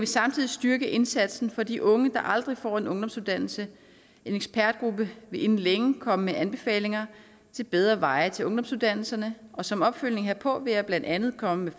samtidig styrke indsatsen for de unge der aldrig får en ungdomsuddannelse en ekspertgruppe vil inden længe komme med anbefalinger til bedre veje til ungdomsuddannelserne og som opfølgning herpå vil jeg blandt andet komme med